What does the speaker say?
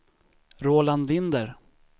Roland Linder